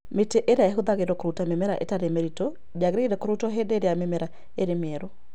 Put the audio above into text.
Mĩtĩ ĩrĩa ĩhũthagĩrũo kũruta mĩmera ĩtarĩ mĩritũ ndĩagĩrĩire kũrutwo hĩndĩ ĩrĩa mĩmera ĩrĩ mĩerũ.